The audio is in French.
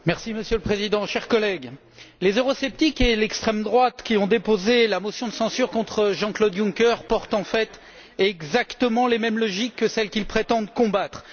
Monsieur le Président, chers collègues, les eurosceptiques et l'extrême droite, qui ont déposé la motion de censure contre Jean Claude Juncker, portent en fait exactement les mêmes logiques que celles qu'ils prétendent combattre.